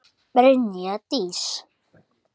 Brynja Dís.